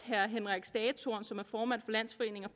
henrik stagetorn som er formand